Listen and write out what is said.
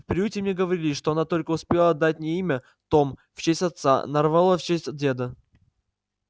в приюте мне говорили что она только успела дать мне имя том в честь отца нарволо в честь деда